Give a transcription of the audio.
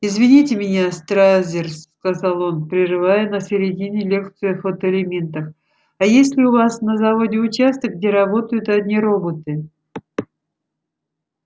извините меня стразерс сказал он прерывая на середине лекцию о фотоэлементах а есть ли у вас на заводе участок где работают одни роботы